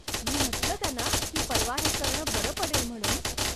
मी म्हटलं त्यांना की परवा हे करणं बरं पडेल म्हणून.